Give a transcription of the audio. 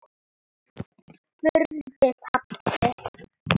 spurði pabbi.